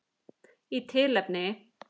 Í tilefni